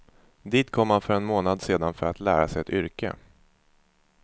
Dit kom han för en månad sedan för att lära sig ett yrke.